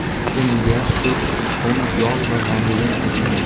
Unga sut, tuxum, yog‘ va vanilin qo‘shamiz.